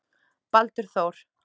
Baldur Þór.